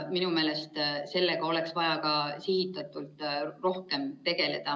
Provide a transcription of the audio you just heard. Minu meelest oleks sellega vaja ka sihitatult rohkem tegeleda.